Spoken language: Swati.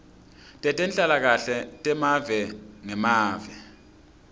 tetenhlalakahle temave ngemave